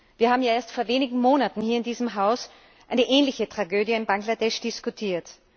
Wir haben ja erst vor wenigen Monaten hier in diesem Haus eine ähnliche Tragödie in Bangladesch diskutiert.